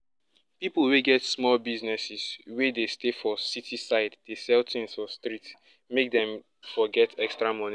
ppipu wey get small business wey dey stay for city side dey sell tins for street make dem for get extra money